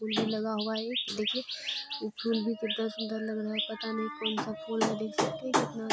फूल भी लगा हुआ है एक देखिये उ फूल भी कितना सूंदर लग रहा हैपता नहीं कौन सा फूल है देख सकते है कितना --